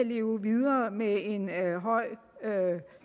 leve videre med en høj